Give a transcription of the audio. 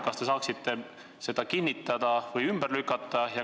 Kas te saaksite seda kinnitada või ümber lükata?